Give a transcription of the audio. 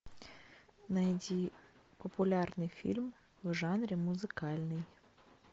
найди популярный фильм в жанре музыкальный